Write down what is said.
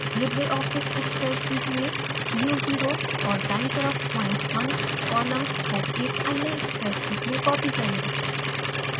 Libre office spreadsheet में u0 u velocity और दायीं तरफ points 1yaxis कॉलम्स को एक अन्य स्प्रेडशीट में कॉपी करें